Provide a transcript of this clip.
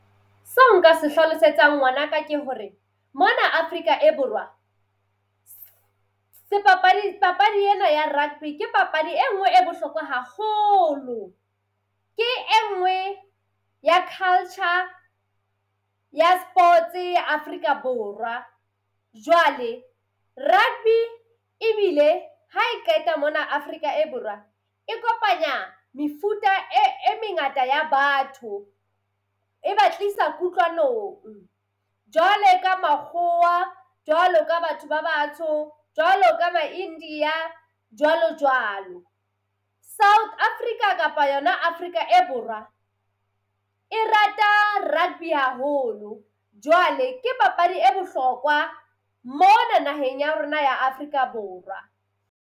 Seo nka se hlalosetsang ngwanaka ke hore, mona Afrika e Borwa sebapadi papadi ena ya rugby ke papadi enngwe e bohlokwa hahoolo. Ke enngwe ya culture ya sports ya Afrika Borwa. Jwale rugby ebile ha e qeta mona Afrika e Borwa e kopanya mefuta e e mengata ya batho, e ba tlisa kutlwanong jwalo ka makgowa, jwalo ka batho ba batsho, jwalo ka ma-India jwalo jwalo. South Africa kapa yona Afrika e Borwa e rata rugby haholo, jwale ke papadi e bohlokwa mona naheng ya rona ya Afrika Borwa.